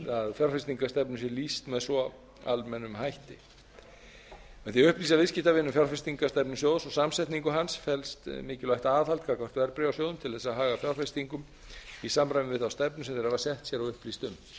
fjárfestingarstefnu sé lýst með svo almennum hætti með því að upplýsa viðskiptavininn um fjárfestingarstefnu sjóðs og samsetningu hans felst mikilvægt aðhald gagnvart verðbréfasjóðum til að haga fjárfestingum sínum í samræmi við þá stefnu sem þeir hafa sett sér og upplýst um